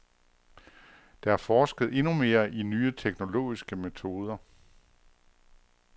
Der er forsket endnu mere i nye teknologiske metoder.